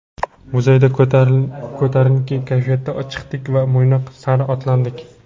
Muzeydan ko‘tarinki kayfiyatda chiqdik va Mo‘ynoq sari otlandik.